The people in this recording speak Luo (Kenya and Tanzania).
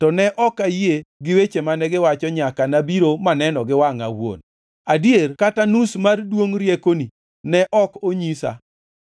To ne ok ayie gi weche mane giwacho nyaka nabiro maneno gi wangʼa awuon. Adier kata nus mar duongʼ riekoni ne ok onyisa;